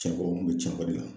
Cɛnko n kun bɛ Cɛnko de la.